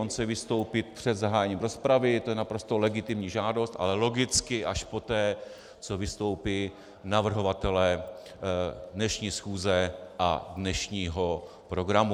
On chce vystoupit před zahájením rozpravy, to je naprosto legitimní žádost, ale logicky až poté, co vystoupí navrhovatelé dnešní schůze a dnešního programu.